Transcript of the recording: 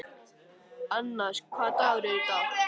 Annas, hvaða dagur er í dag?